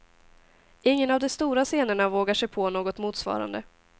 Ingen av de stora scenerna vågar sig på något motsvarande.